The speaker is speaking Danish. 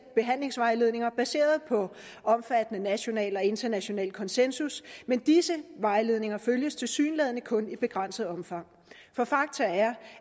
behandlingsvejledninger baseret på omfattende national og international konsensus men disse vejledninger følges tilsyneladende kun i begrænset omfang for fakta